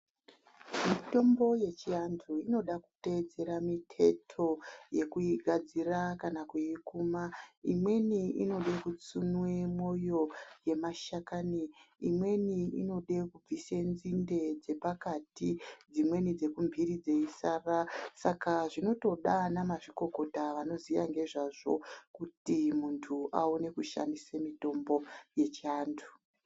Mitombo yechiantu inoda kuteedzera miteto yekuigadzira kana kuikuma imweni inode kutsunwe mwoyo yemashakani imweni inode kubvise nzinde dzepakati dzimweni dzekumhiri dzeisara Saka zvinotoda ana mazvikokota anoziya nngezvazvo kuti muntu awone kushandisa mitombo yechivantu.